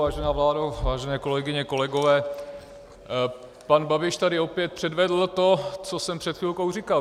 Vážená vládo, vážené kolegyně, kolegové, pan Babiš tady opět předvedl to, co jsem před chvilkou říkal.